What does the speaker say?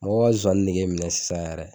Mɔgɔ bɛ ka sonsannin nege minɛ sisan yɛrɛ